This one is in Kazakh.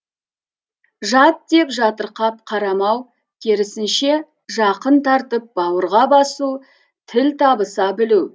жат деп жатырқап қарамау керісінше жақын тартып бауырға басу тіл табыса білу